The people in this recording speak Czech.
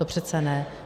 To přece ne.